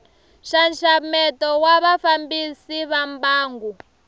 nxaxameto wa vafambisi va mbangu